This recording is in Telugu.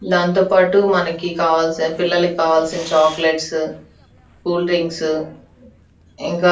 దాంతోపాటు మనకి కావాల్సిన పిల్లలకు కావాల్సిన చాక్లెట్స్ కూల్ డ్రింక్స్ ఇంకా --